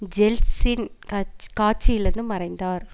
Yeltsin கட்ச் காட்சியிலிருந்து மறைந்தார்